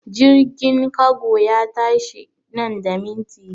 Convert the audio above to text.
Jirgin kago ya tashi nan da minti biyar!